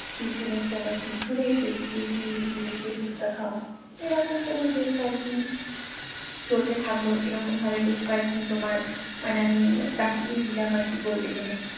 টিফিনের সময় পিছনের গেট দিয়ে গিয়ে লুকিয়ে লুকিয়ে পুচকা খাওয়া এইরকম তোমার বেশ কয়েকদিন চলতে থাকলো এরকম ভাবে বেশ কয়েকদিন তোমার মানে আমি কাটিয়েই দিলাম আর কি বলতে গেলে